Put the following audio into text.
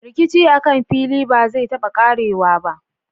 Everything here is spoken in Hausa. Rikici akan fili ba zai taba ƙarewa ba.